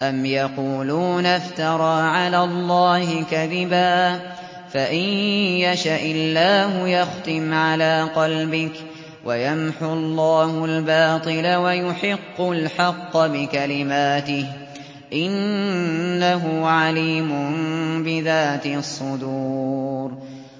أَمْ يَقُولُونَ افْتَرَىٰ عَلَى اللَّهِ كَذِبًا ۖ فَإِن يَشَإِ اللَّهُ يَخْتِمْ عَلَىٰ قَلْبِكَ ۗ وَيَمْحُ اللَّهُ الْبَاطِلَ وَيُحِقُّ الْحَقَّ بِكَلِمَاتِهِ ۚ إِنَّهُ عَلِيمٌ بِذَاتِ الصُّدُورِ